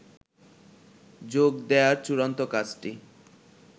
যোগ দেয়ার চূড়ান্ত কাজটি